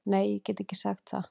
Nei ég get ekki sagt það.